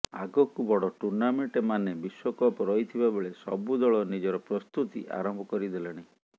ଆଗକୁ ବଡ ଟୁର୍ଣ୍ଣାମେଣ୍ଟ ମାନେ ବିଶ୍ୱକପ ରହିଥିବା ବେଳେ ସବୁ ଦଳ ନିଜର ପ୍ରସ୍ତୁତି ଆରମ୍ଭ କରି ଦେଲେଣି